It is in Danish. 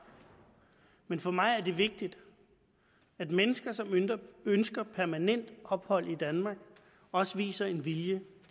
men for mig er det vigtigt at mennesker som ønsker permanent ophold i danmark også viser en vilje